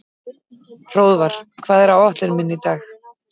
Hróðvar, hvað er á áætluninni minni í dag?